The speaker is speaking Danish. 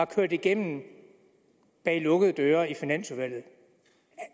kørt igennem bag lukkede døre i finansudvalget